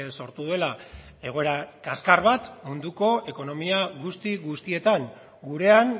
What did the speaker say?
sortu duela egoera kaskar bat munduko ekonomia guzti guztietan gurean